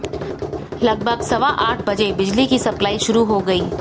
लगभग सवा आठ बजे बिजली की सप्लाई शुरू हो गई